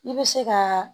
I bɛ se ka